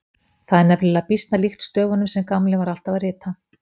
Það var nefnilega býsna líkt stöfunum sem Gamli var alltaf að rita.